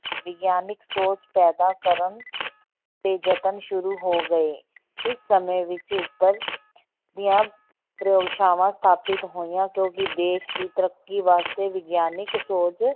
ਵਿਗਿਆਨਕ ਸੋਚ ਪੈਦਾ ਕਰਨ ਦੇ ਯਤਨ ਸ਼ੁਰੂ ਹੋ ਗਏ, ਇਸ ਸਮੇਂ ਵਿੱਚ ਉੱਪਰ ਦੀਆਂ ਪ੍ਰਯੋਗਸ਼ਾਵਾਂ ਸਥਾਪਿਤ ਹੋਈਆਂ ਕਿਉਂਕਿ ਦੇਸ ਦੀ ਤੱਰਕੀ ਵਾਸਤੇ ਵਿਗਿਆਨਕ ਸੋਚ